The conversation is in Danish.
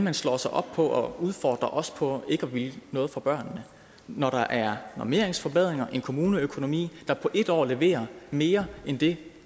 at slå sig op på at udfordre os på ikke at ville noget for børnene når der er normeringsforbedringer og en kommuneøkonomi der på en år leverer mere end det